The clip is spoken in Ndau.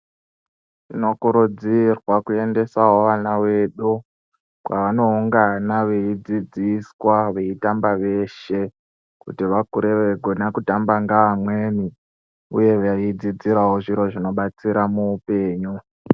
Tinokurudzirwa kuendasawo vana vedu kwaanoungana veidzidziswa veitamba veshe kuti vakure veigona kutamba ngeamweni uye veidzidzirawo zviro zvinobatsira muupenyu.